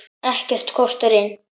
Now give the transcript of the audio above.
Ekkert kostar inn.